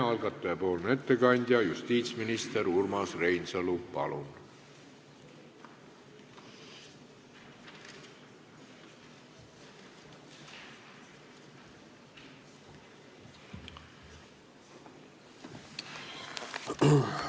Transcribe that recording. Algataja ettekandja justiitsminister Urmas Reinsalu, palun!